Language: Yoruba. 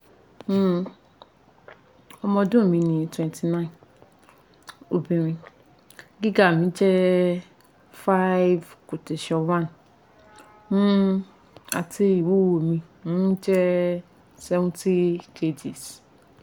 um ọmọ ọdun mi ni twenty nine obinrin giga mi jẹ five " one ' um ati iwuwo mi um jẹ seventy kgs